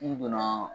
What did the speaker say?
Du kɔnɔ